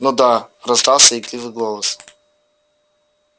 ну да раздался игривый голос